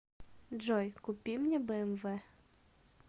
джой купи мне бмв